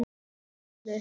Heimili ömmu.